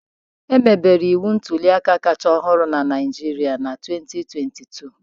Emebere iwu ntuli aka kacha ọhụrụ na Naijiria na 2022